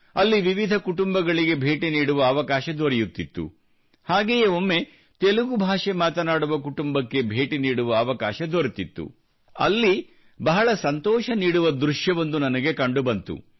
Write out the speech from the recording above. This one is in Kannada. ಅಲ್ಲಿ ವಿವಿಧ ಕುಟುಂಬಗಳಿಗೆ ಭೇಟಿ ನೀಡುವ ಅವಕಾಶ ದೊರೆಯುತ್ತಿತ್ತು ಹಾಗೆಯೇ ಒಮ್ಮೆ ತೆಲುಗು ಭಾಷೆ ಮಾತನಾಡುವ ಕುಟುಂಬಕ್ಕೆ ಭೇಟಿ ನೀಡುವ ಅವಕಾಶ ದೊರೆತಿತ್ತು ಅಲ್ಲಿ ಬಹಳ ಸಂತೋಷ ನೀಡುವ ದೃಶ್ಯವೊಂದು ನನಗೆ ಕಂಡುಬಂದಿತು